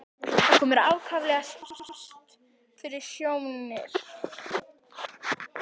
Þetta kom mér ákaflega spánskt fyrir sjónir.